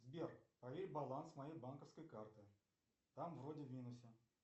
сбер проверь баланс моей банковской карты там вроде в минусе